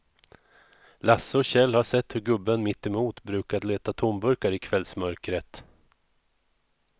Lasse och Kjell har sett hur gubben mittemot brukar leta tomburkar i kvällsmörkret.